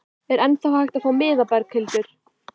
Er ennþá hægt að fá miða, Berghildur?